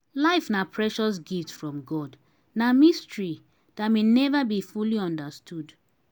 life na precious gift from god na mystery dat may never be fully understood.